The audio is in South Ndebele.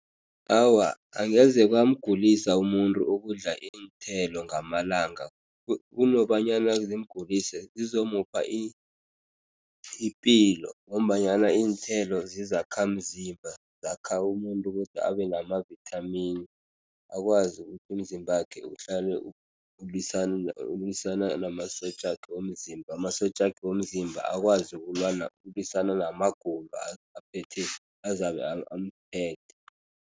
Awa, angeze kwamgulisa umuntu ukudla iinthelo ngamalanga. Kunokobanyana zimgulise, zizomupha ipilo ngombanyana iinthelo zizakhamzimba, zakha umuntu ukuthi abe nama-vitamin, akwazi ukuthi umzimbakhe uhlale ulwisana ulwisana namasotjakhe womzimba. Amasotjakhe womzimba akwazi ukulwisana namagulo aphethe, azabe amphethe.